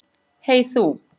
Hey þú.